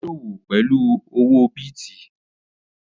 Ó sọ́wọ́ pẹ̀lú owó bìtì